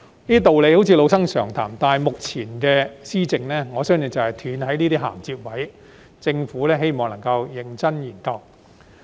這些道理好像是老生常談，但目前施政就是斷了這些銜接位，希望政府認真研究。